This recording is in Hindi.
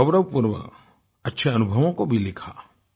बड़े गौरवपूर्वक अच्छे अनुभवों को भी लिखा